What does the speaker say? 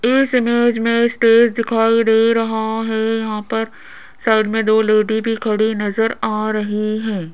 इस इमेज में स्टेज दिखाई दे रहा है यहां पर साइड में दो लेडी भी खड़ी नजर आ रही है।